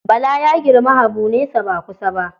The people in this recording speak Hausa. Bala ya girmi Habu nesa ba kusa ba.